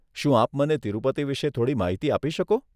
શું આપ મને તિરુપતિ વિષે થોડી માહિતી આપી શકો?